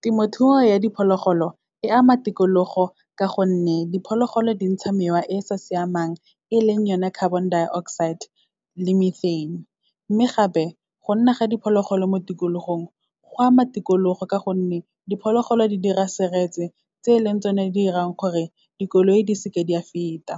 Temothuo ya diphologolo, e ama tikologo ka gonne diphologolo di ntsha mewa e sa siamang, e leng yone carbon dioxide le methane. Mme gape, go nna ga diphologolo mo tikologong, go ama tikologo ka gonne, diphologolo di dira seretse, tse leng tsone di irang gore dikoloi di seke di a feta.